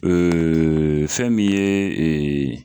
fɛn min ye